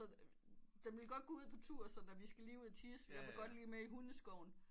Den ville godt gå ud på tur sådan vi skal lige ud og tissejeg vil godt lige med i hundeskoven